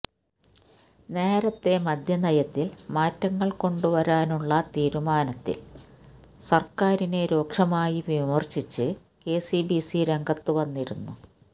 നേരത്തെ മദ്യനയത്തില് മാറ്റങ്ങള് കൊണ്ടുവരാനുള്ള തീരുമാനത്തില് സര്ക്കാരിനെ രൂക്ഷമായി വിമര്ശിച്ച് കെ സി ബി സി രംഗത്തുവന്നിരുന്നു